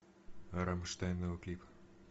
рамштайн новый клип